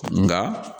Nga